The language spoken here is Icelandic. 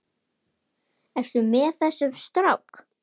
Ertu með þessum strák?